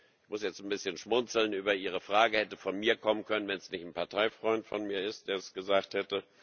Ich muss jetzt ein bisschen schmunzeln über Ihre Frage, sie hätte von mir kommen können, wenn es nicht ein Parteifreund von mir wäre, der das gesagt hat.